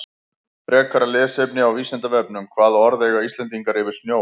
Frekara lesefni á Vísindavefnum Hvaða orð eiga Íslendingar yfir snjó?